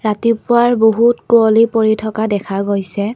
ৰাতিপুৱাৰ বহুত কুঁৱলী পৰি থকা দেখা গৈছে।